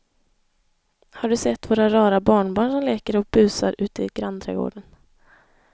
Har du sett våra rara barnbarn som leker och busar ute i grannträdgården!